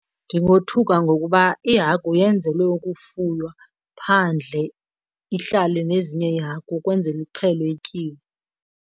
Ndingothuka ngokuba ihagu yenzelwe ukufuywa phandle, ihlale nezinye iihagu ukwenzele ixhelwe ityiwe.